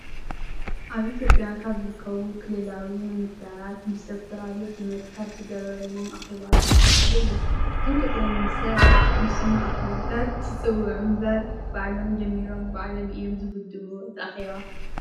ኣብ ኢትዮጵያ ካብ ዝርከቡ ክልላዊ ምምህዳራት ምስ ዶ/ር ኣብይ ኣሕመድ ካብ ዝገበርዎም ኣኬባታት ሓደ እዩ። እዞም ጠቅላይ ሚኒስተር ንስሙ ኣኬባታት ይፀውዑ እምበር ባዕሎም ጀሚሮም ባዕሎም እዮም ዝውድእዎ እቲ ኣኬባ።